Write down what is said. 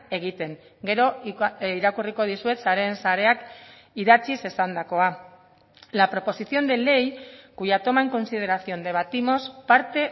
egiten gero irakurriko dizuet sareen sareak idatziz esandakoa la proposición de ley cuya toma en consideración debatimos parte